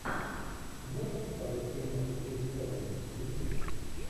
можешь показать киношку крис эванс мстители